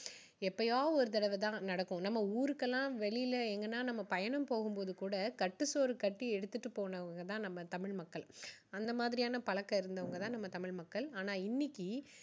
எப்போதாவது ஒரு தடவை தான் நடக்கும் நம்ம ஊருக்கெல்லாம் வெளியில எங்கனா நம்ம பயணம் போகும் போது கூட கட்டு சோறு கட்டி எடுத்துட்டு போனவங்க தான் நம்ம தமிழ் மக்கள். அந்த மாதிரியான் பழக்கம் இருந்தவங்க தான் நம்ம தமிழ் மக்கள் ஆனா இன்னைக்கு